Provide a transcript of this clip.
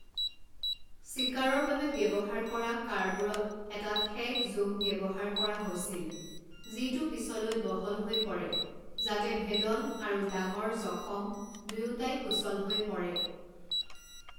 চিকাৰৰ বাবে ব্যৱহাৰ কৰা কাঁড়বোৰত এটা ঠেক জোং ব্যৱহাৰ কৰা হৈছিল যিটো পিছলৈ বহল হৈ পৰে, যাতে ভেদন আৰু ডাঙৰ জখম দুয়োটাই সুচল হৈ পৰে।